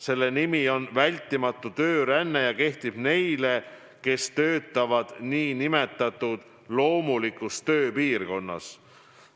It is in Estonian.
Selle rände nimi on vältimatu tööränne ja see kehtib neile, kes töötavad nn loomulikus tööpiirkonnas.